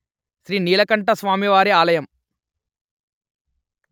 శ్రీ నీలకంఠస్వామివారి ఆలయం